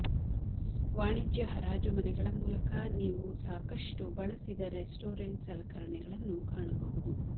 ವಾಣಿಜ್ಯ ಹರಾಜು ಮನೆಗಳ ಮೂಲಕ ನೀವು ಸಾಕಷ್ಟು ಬಳಸಿದ ರೆಸ್ಟೋರೆಂಟ್ ಸಲಕರಣೆಗಳನ್ನು ಕಾಣಬಹುದು